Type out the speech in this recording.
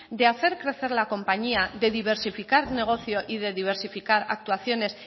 de hacer crecer la compañía de diversificar negocio y de diversificar actuaciones